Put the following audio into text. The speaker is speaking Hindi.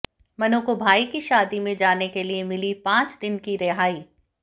मनु को भाई की शादी में जाने के लिये मिली पांच दिन की रिहाई